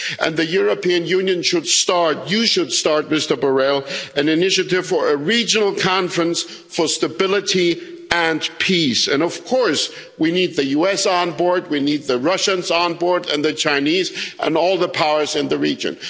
The European Union should start you should start, Mr Borrell an initiative for a regional conference for stability and peace, and of course we need the US on board, we need the Russians on board and the Chinese and all the powers in the region.